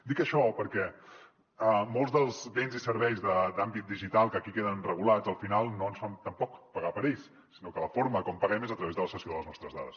dic això perquè molts dels béns i serveis d’àmbit digital que aquí queden regulats al final no ens fan tampoc pagar per ells sinó que la forma com paguem és a través de la cessió de les nostres dades